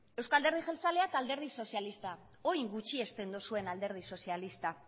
euzko alderdi jeltzalea eta alderdi sozialista orain gutxiesten duzuen alderdi sozialista